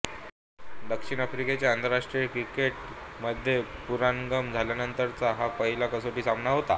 दक्षिण आफ्रिकेच्या आंतरराष्ट्रीय क्रिकेट मध्ये पुनरागमन झाल्यानंतरचा हा पहिला कसोटी सामना होता